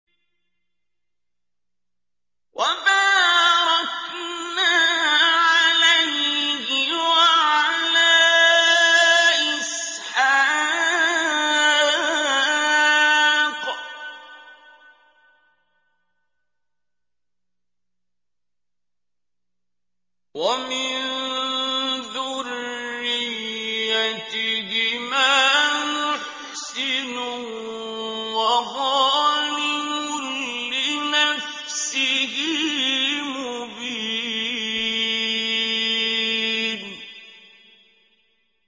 وَبَارَكْنَا عَلَيْهِ وَعَلَىٰ إِسْحَاقَ ۚ وَمِن ذُرِّيَّتِهِمَا مُحْسِنٌ وَظَالِمٌ لِّنَفْسِهِ مُبِينٌ